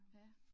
Ja